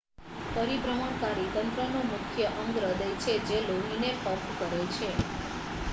પરિભ્રમણકારી તંત્રનો મુખ્ય અંગ હૃદય છે જે લોહીને પંપ કરે છે